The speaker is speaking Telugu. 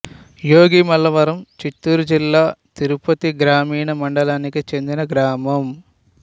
యోగిమల్లవరం చిత్తూరు జిల్లా తిరుపతి గ్రామీణ మండలానికి చెందిన గ్రామం